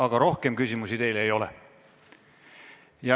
Aga rohkem küsimusi teile ei ole.